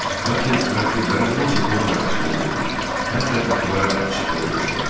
Lakin mürəttiblərin hamısı dua mərasiminə getmiş, hətta qapıları da açıq qoymuşdular.